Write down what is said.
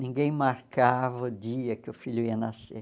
Ninguém marcava o dia que o filho ia nascer.